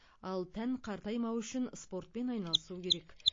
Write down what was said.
ал тән қартаймауы үшін спортпен айналасу керек